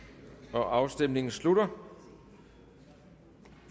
afstemningen slutter